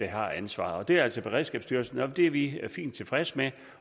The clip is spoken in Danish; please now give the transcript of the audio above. har ansvaret det er altså beredskabsstyrelsen og det er vi fint tilfredse med